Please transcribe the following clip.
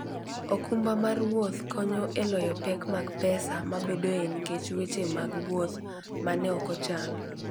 okumba mar wuoth konyo e loyo pek mag pesa mabedoe nikech weche mag wuoth ma ne ok ochan.